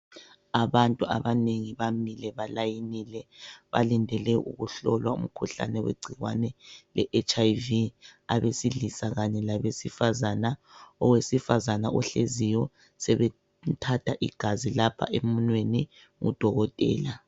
Abantu abanengi bamile balayinile balindele ukuhlolwa umkhuhlane wegcikwane le H.I.V . Abesilisa kanye labesifazana, owesifazana ohleziyo sebemthatha igazi lapha emunweni ngu Dokotela.